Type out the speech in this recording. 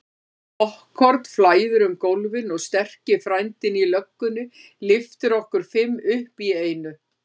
Poppkorn flæðir um gólfin og sterki frændinn í löggunni lyftir okkur fimm upp í einu.